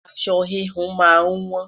aṣọ wihun má n wọn